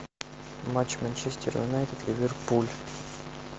матч манчестер юнайтед ливерпуль